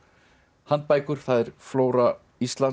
handbækur það er flóra Íslands